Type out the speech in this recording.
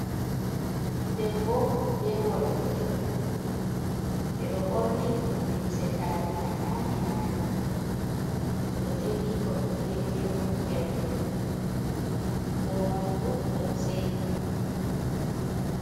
Debbo be worɓe ɗiɗo ɓeɗo ɓorni limse tariha nane nane, oɗo jogi ko ɓe wiyete ɓokkirde. Ko moi fu ɗon seyi.